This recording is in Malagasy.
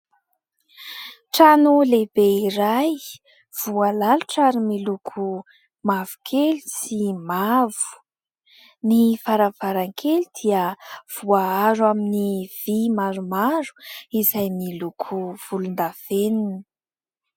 Trano lehibe iray voalalotra ary miloko mavokely sy mavo ny varavarankely dia voaaro amin'ny vy maromaro, izay niloko volondavenony.